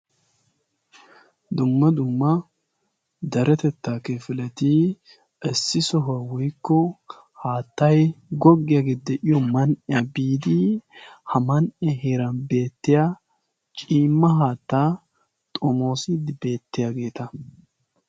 Dumma dumma deretettaa kifileti issi sohuwa woyikko haattay goggiyagee de'iyo man'iya biidi ha man'iya heeran beettiya ciimma haattaa xomoosiiddi beettiyageeta.